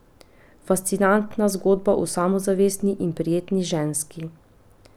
Fascinantna zgodba o samozavestni in prijetni ženski.